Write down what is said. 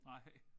Nej